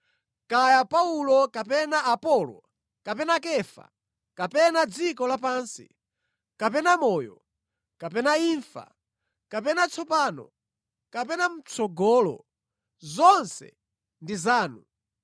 kaya Paulo kapena Apolo kapena Kefa kapena dziko lapansi, kapena moyo, kapena imfa, kapena tsopano, kapena mʼtsogolo, zonse ndi zanu,